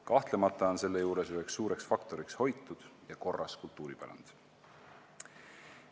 Kahtlemata on selle juures üks suur faktor hoitud ja korras kultuuripärand.